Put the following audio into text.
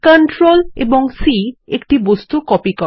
CTRL C একটা বস্তু copy করে